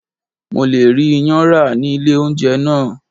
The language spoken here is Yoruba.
Mo le rí iyán rà ní ilé oúnjẹ náà.